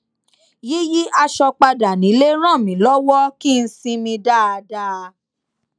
yíyí aṣọ padà nílé ràn mí lọwọ kí n sinmi dáadáa